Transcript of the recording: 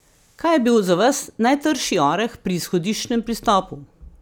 Kaj je bil za vas najtrši oreh pri izhodiščnem pristopu?